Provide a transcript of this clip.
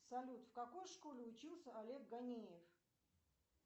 салют в какой школе учился олег ганеев